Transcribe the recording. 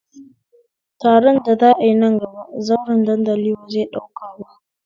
Taron da za'a yi nan gaba, zauren dandali ba zai ɗauka ba